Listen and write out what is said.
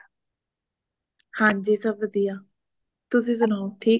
ਹੰਜੀ ਸਬ ਵਧੀਆ ਤੁਸੀ ਸੁਣਾਓ ਠੀਕ ਸਾਰੇ